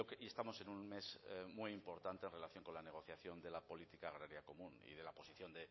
y estamos en un mes muy importante en relación con la negociación de la política agraria común y de la posición